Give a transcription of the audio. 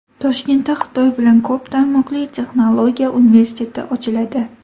Toshkentda Xitoy bilan ko‘p tarmoqli texnologiya universiteti ochiladi.